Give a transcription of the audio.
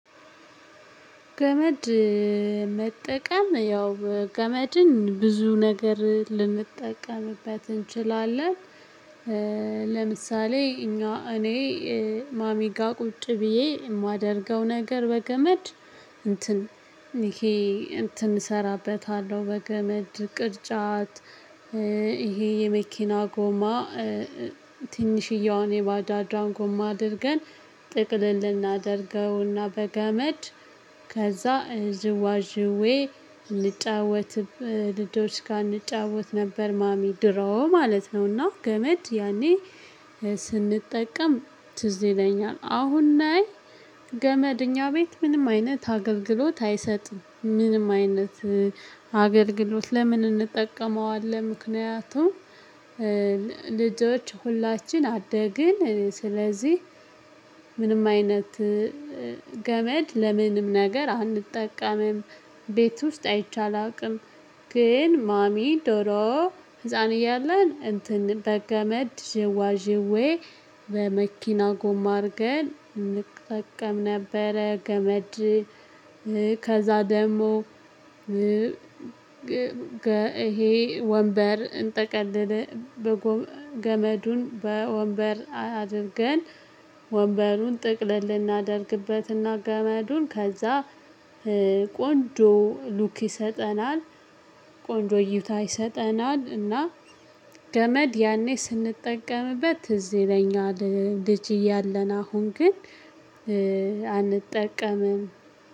ገመድ መጠቀም ያው በ ገመድን ብዙ ነገር ልንጠቀምበት እንችላለን። ለምሳሌ እኛ እኔ ማሚጋ ቁጭ ብዬ የማደርገው ነገር በገመድ እንትን ይሄ እንትን እሰራበታለሁ በገመድ ቅርጫት ይሄ የመኪና ጎማ ትንሽዬዋን የባጃጇን ጎማ አድርገን ጥቅል እናደርገውና በገመድ ከዛ ዝዋዥዌ ልጫወትበ ልጆች ጋ እንጫወት ነበር። ማሚ ድሮ ማለት ነውና ገመድ ያኔ ስንጠቀም ትዝ ይለኛል። አሁን ላይ ገመድ እኛ ቤት ምንም አይነት አገልግሎት አይሰጥም። ምንም አይነት አገልግሎት ለምን እንጠቀመዋለን ምክንያቱም ልጆች ሁላችን አደግን ስለዚህ ምንም አይነት ገመድ ለምንም ነገር አንጠቀምም። ቤት ውስጥ አይቼ አላውቅም። ግን ማሚ ዶሮ ህፃን እያለን እንትን በገመድ ዥዋዥዌ በመኪና ጎማ አድርገን እንጠቀም ነበረ። ገመድ ከዛ ደግሞ ግ ገ ይሄ ወንበር እንጠቀልል በቦ ገመዱን በወንበር አ አድርገን ወንበሩን ጥቅልል እናደርግበትና ገመዱን ከዛ ቆንጆ ሉክ ይሰጠናል። ቆንጆ እዩታ ይሰጠናል። ገመድ ያኔ ስንጠቀምበት ትዝ ይለኛል ልጅ ያለን አሁን ግን አንጠቀምም